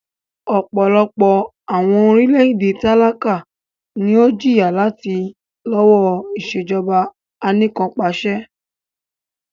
Ọpọlọpọ awọn orilẹ-ede talaka ni o jiya lati lọwọ Ìṣèjọba Anìkanpàṣẹ